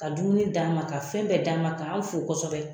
Ka dumuni d'an ma, ka fɛn bɛɛ d'an ma ka an fo kɔsɔbɛ.